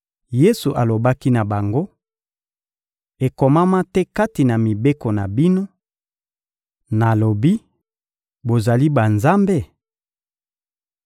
Yesu alobaki na bango: — Ekomama te kati na mibeko na bino: «Nalobi: ‹Bozali banzambe?›»